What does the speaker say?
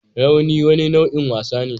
Rauni wani nau'in wasa ne